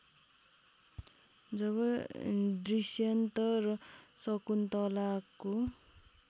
जब दुष्यन्त र शकुन्तलाको